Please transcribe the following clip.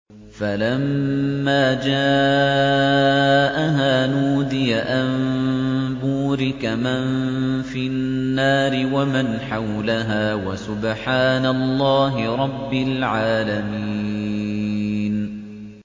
فَلَمَّا جَاءَهَا نُودِيَ أَن بُورِكَ مَن فِي النَّارِ وَمَنْ حَوْلَهَا وَسُبْحَانَ اللَّهِ رَبِّ الْعَالَمِينَ